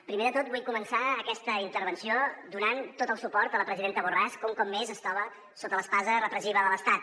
primer de tot vull començar aquesta intervenció donant tot el suport a la presidenta borràs que un cop més es troba sota l’espasa repressiva de l’estat